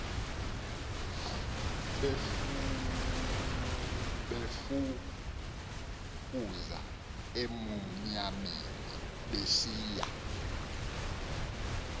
befukuza emnyameni besiya